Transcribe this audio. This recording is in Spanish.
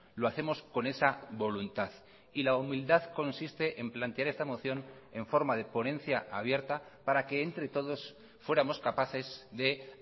lo hacemos con esa voluntad y la humildad consiste en plantear esta moción en forma de ponencia abierta para que entre todos fuéramos capaces de